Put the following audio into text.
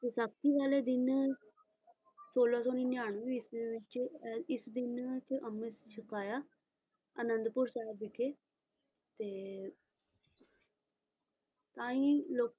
ਵਿਸਾਖੀ ਵਾਲੇ ਦਿਨ ਸੋਲਾਂ ਸੌ ਨਿਆਨਵੇਂ ਈਸਵੀ ਵਿੱਚ ਐ ਇਸ ਦਿਨਾਂ ਚ ਅੰਮ੍ਰਿਤ ਛਕਾਇਆ ਆਨੰਦਪੁਰ ਸਾਹਿਬ ਵਿਖੇ ਤੇ ਆਹੀ ਲੋਕ